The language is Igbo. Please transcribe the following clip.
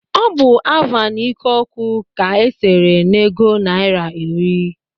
Ọ bụ Avan ikoku ka e sere n'ego naira iri